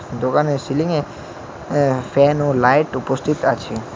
দোকানে সিলিংয়ে আঃ ফ্যান ও লাইট উপস্থিত আছে।